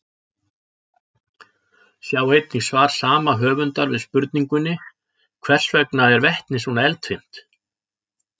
Sjá einnig svar sama höfundar við spurningunni Hvers vegna er vetni svona eldfimt?